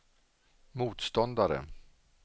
motståndare